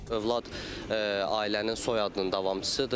Övlad ailənin soyadının davamçısıdır.